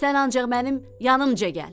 Sən ancaq mənim yanımca gəl.